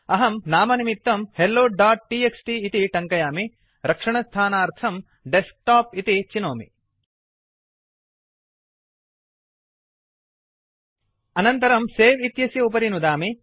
अहं नामनिमित्तं helloटीएक्सटी इति टङ्कयामि रक्षणस्थानार्थं डेस्कटॉप इति चिनोमि अनन्तरं सवे इत्यस्य उपरि नुदामि